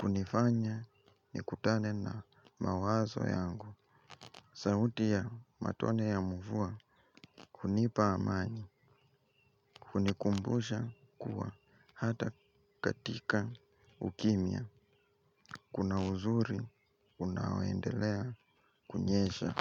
Kunifanya ni kutane na mawazo yangu. Sauti ya matone ya mvua kunipa amani, kunikumbusha kuwa hata katika ukimia kuna uzuri, unawendelea, kunyesha.